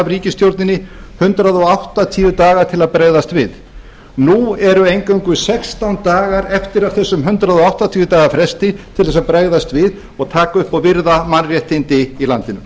ríkisstjórninni hundrað áttatíu daga til að bregðast við nú eru eingöngu sextán dagar eftir af þessum hundrað áttatíu daga fresti til þess að bregðast við og taka upp og virða mannréttindi í landinu